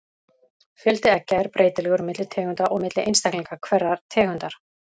Fjöldi eggja er breytilegur milli tegunda og milli einstaklinga hverrar tegundar.